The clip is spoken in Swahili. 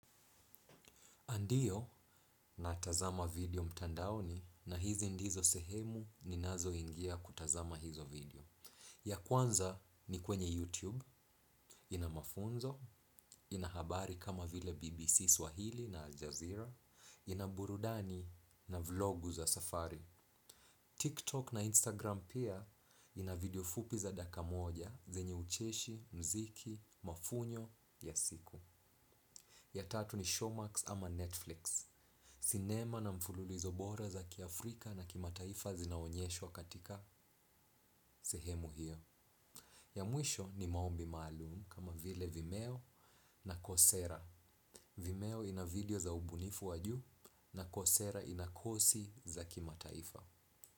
Ndiyo natazama video mtandaoni na hizi ndizo sehemu ninazo ingia kutazama hizo video. Ya kwanza ni kwenye YouTube, ina mafunzo, ina habari kama vile BBC Swahili na Aljazeera, ina burudani na vlogu za safari. TikTok na Instagram pia ina video fupi za dakika moja zenye ucheshi, mziki, mafunyo, ya siku. Ya tatu ni Showmax ama Netflix. Sinema na mfululizo bora za kiafrika na kimataifa zinaonyeshwa katika sehemu hiyo. Ya mwisho ni maombi maalum kama vile Vimeo na Kosera. Vimeo ina video za ubunifu wa juu na Kosera ina kosi za kima taifa.